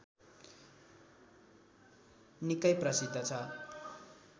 निकै प्रसिद्ध छ